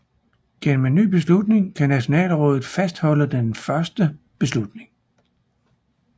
Gennem en ny beslutning kan Nationalrådet fastholde den første beslutning